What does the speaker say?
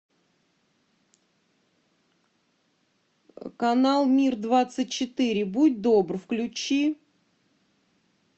канал мир двадцать четыре будь добр включи